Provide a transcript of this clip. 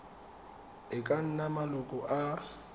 e ka nnang maloko a